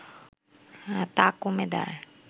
তা কমে দাঁড়ায়